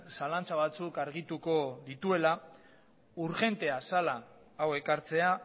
zalantza batzuk argituko dituela urgentea zela hau ekartzea